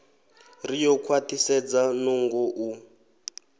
ri ḓo khwaṱhisedza nungo u